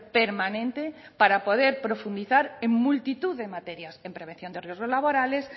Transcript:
permanente para poder profundizar en multitud de materias en prevención de riesgos laborales